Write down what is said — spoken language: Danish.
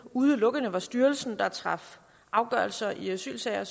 udelukkende var styrelsen der traf afgørelser i asylsager